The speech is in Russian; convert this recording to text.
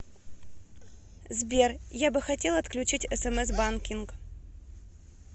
сбер я бы хотел отключить смс банкинг